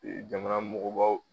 jamana mɔgɔbaw